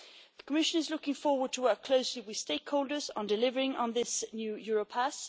The Commission is looking forward to working closely with stakeholders on delivering on this new Europass.